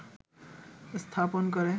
স্থাপন করে